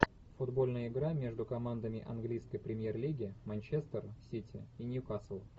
футбольная игра между командами английской премьер лиги манчестер сити и ньюкасл